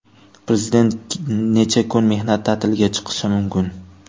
Prezident necha kun mehnat ta’tiliga chiqishi mumkin?